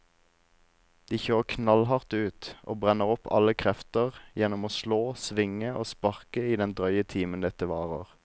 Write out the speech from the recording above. De kjører knallhardt ut og brenner opp alle krefter gjennom å slå, svinge og sparke i den drøye timen dette varer.